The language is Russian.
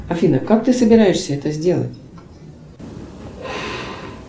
афина как ты собираешься это сделать